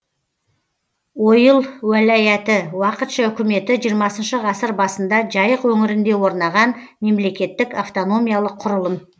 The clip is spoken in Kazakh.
ойыл уәлаяты уақытша үкіметі жиырмасыншы ғасыр басында жайық өңірінде орнаған мемлекеттік автономиялық құрылым